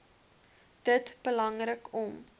dit belangrik om